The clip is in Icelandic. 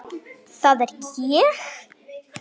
Það er ég.